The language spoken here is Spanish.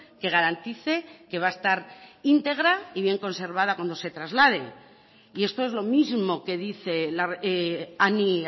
que garantice que va a estar íntegra y bien conservada cuando se traslade y esto es lo mismo que dice anny